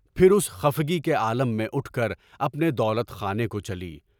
پھر اُسی خفگی کے عالم میں اُٹھ کر اپنے دولت خانے کو چلی۔